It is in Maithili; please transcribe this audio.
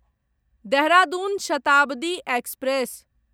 देहरादून शताब्दी एक्सप्रेस